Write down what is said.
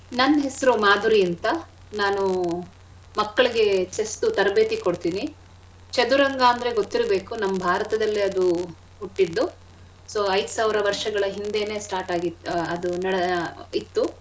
ನನ್ ಹೆಸ್ರು ಮಾಧುರಿ ಅಂತ ನಾನು ಮಕ್ಳಿಗೆ chess ದು ತರಬೇತಿ ಕೊಡ್ತೀನಿ. ಚದುರಂಗ ಅಂದ್ರೆ ಗೊತ್ತಿರ್ಬೇಕು ನಮ್ ಭಾರತದಲ್ಲಿ ಅದು ಹುಟ್ಟಿದ್ದು. so ಐದ್ ಸಾವ್ರ ವರ್ಷಗಳ ಹಿಂದೆನೆ start ಆಗಿ ಅದು ಆ ಇತ್ತು.